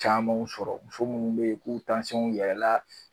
Camanw sɔrɔ muso munnu be yen n'u yɛlɛn na